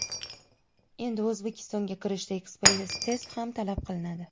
Endi O‘zbekistonga kirishda ekspress test ham talab qilinadi.